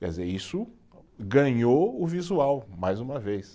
Quer dizer, isso ganhou o visual, mais uma vez.